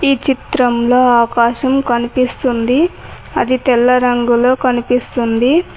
ఈ చిత్రంలో ఆకాశం కనిపిస్తుంది అది తెల్ల రంగులో కనిపిస్తుంది.